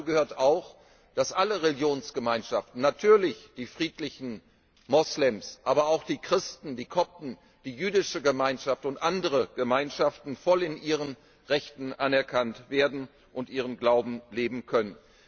Dazu gehört auch, dass alle Religionsgemeinschaften natürlich die friedlichen Moslems, aber auch die Christen, die Kopten, die jüdische Gemeinschaft und andere Gemeinschaften voll in ihren Rechten anerkannt werden und ihren Glauben leben können.